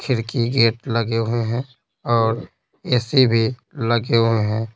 खिड़की गेट लगे हुए हैं और ए-सी भी लगे हुए हैं।